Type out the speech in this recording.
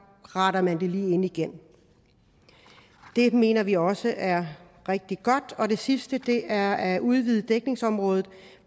retter man det lige ind igen det mener vi også er rigtig godt det sidste er at udvide dækningsområdet